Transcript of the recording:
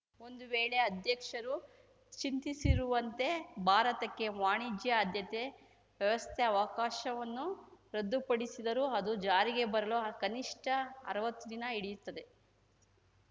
ಒಂದು ವೇಳೆ ಅಧ್ಯಕ್ಷರು ಚಿಂತಿಸಿರುವಂತೆ ಭಾರತಕ್ಕೆ ವಾಣಿಜ್ಯ ಆದ್ಯತೆ ವ್ಯವಸ್ಥೆ ಅವಕಾಶವನ್ನು ರದ್ದುಪಡಿಸಿದರೂ ಅದು ಜಾರಿಗೆ ಬರಲು ಕನಿಷ್ಟ ಅರ್ವತ್ತು ದಿನ ಹಿಡಿಯುತ್ತದೆ